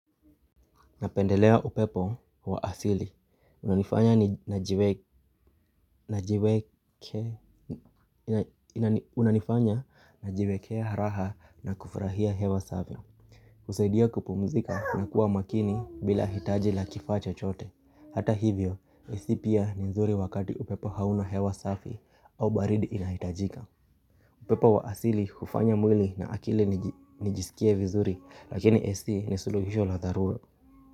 Napendelea upepo wa asili. Unanifanya unanifanya najiwekea raha na kufurahia hewa safi. Husaidia kupumzika na kuwa makini bila hitaji la kifaa chochote. Hata hivyo, ac pia ni nzuri wakati upepo hauna hewa safi au baridi inahitajika. Upepo wa asili hufanya mwili na akili nijisikie vizuri lakini ac ni suluhisho la dharura.